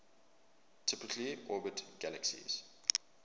typically orbit galaxies